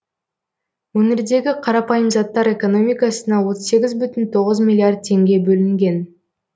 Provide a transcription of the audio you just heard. өңірдегі қарапайым заттар экономикасына отыз сегіз бүтін тоғыз миллиард теңге бөлінген